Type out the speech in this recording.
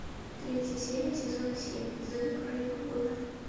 третья серия сезона семь зена королева воинов